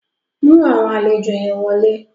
Mú àwọn àlejò yẹn wọlé.